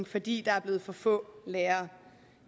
fordi der er blevet for få lærere